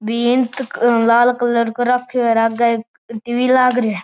भीत लाल कलर कर राख्यो है आगे एक टी.वी लाग रहियो है।